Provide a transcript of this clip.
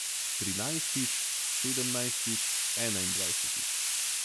Trinajstič, sedemnajstič, enaindvajsetič...